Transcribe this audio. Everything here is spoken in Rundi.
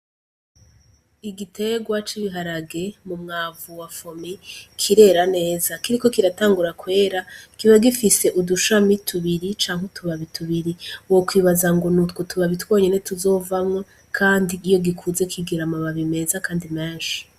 Igitegwa c' igiharage mu mwavu wafome kirera neza kiriko kiratangura kwera kiba gifise udushami tubiri canke utubaba i tubiri wo kwibaza ngo nutwo tubabitwonyene tuzovamwo, kandi iyo gikuze kigera amababi meza, kandi menshi.